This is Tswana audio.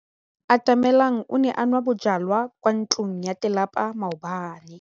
Atamelang o ne a nwa bojwala kwa ntlong ya tlelapa maobane.